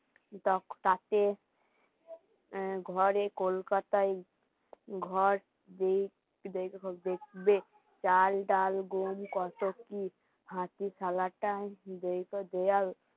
তাঁকে আ ঘরে কোলকাতাই ঘর দিয় চাল, ডাল, গম, কত কি খাঁটি সালাটা দেয়াল